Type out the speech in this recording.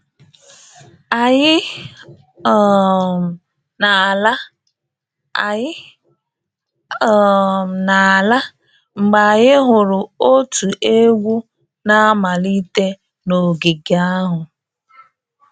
Anyị um na-ala Anyị um na-ala mgbe anyị hụrụ otu egwu na-amalite n'ogige ahụ